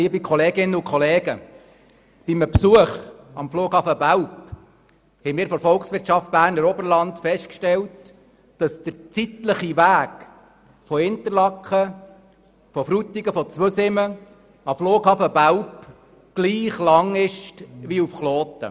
Bei einem Besuch am Flughafen Belp haben wir von der Volkswirtschaft Berner Oberland festgestellt, dass der zeitliche Weg von Interlaken, Frutigen oder Zweisimmen zum Flughafen Belp gleich lange dauert wie der Weg nach Kloten.